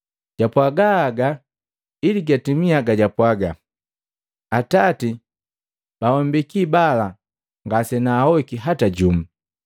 Japwaaga haga ili gatimia gabapwaaga, “Atati, bawambeki bala ngasenahoiki hata jumu.”